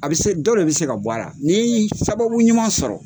A bɛ se dɔ bɛ se ka bɔ a la nin sababu ɲuman sɔrɔ.